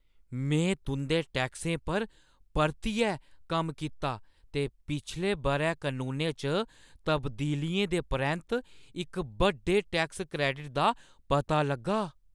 में तुंʼदे टैक्सें पर परतियै कम्म कीता ते पिछले बʼरै कनूनें च तब्दीलियें दे परैंत्त इक बड्डे टैक्स क्रैडिट दा पता लग्गा।